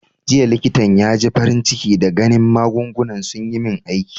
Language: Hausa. Jiya likitan ya ji farin ciki da ganin magungunan sun yi min aiki.